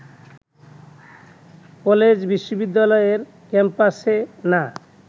কলেজ-বিশ্ববিদ্যালয়ের ক্যাম্পাসে না